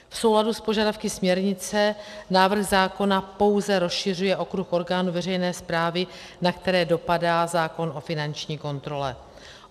V souladu s požadavky směrnice návrh zákona pouze rozšiřuje okruh orgánů veřejné správy, na které dopadá zákon o finanční kontrole.